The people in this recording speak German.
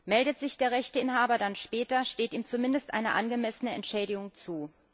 Meldet sich der Rechteinhaber dann später, steht ihm zumindest eine angemessene Entschädigung zu.